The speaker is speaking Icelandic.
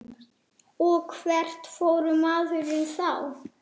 Og hvert fór maður þá?